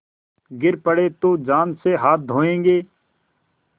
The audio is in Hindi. गिर पड़े तो जान से हाथ धोयेंगे